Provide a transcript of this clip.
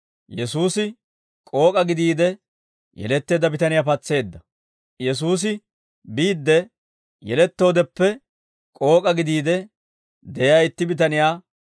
Yesuusi biidde, yelettoodeppe k'ook'a gidiide de'iyaa itti bitaniyaa be'eedda.